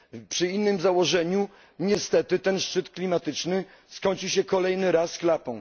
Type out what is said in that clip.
Przy innym założeniu niestety ten szczyt klimatyczny skończy się kolejny raz klapą.